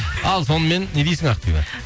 ал сонымен не дейсің ақбибі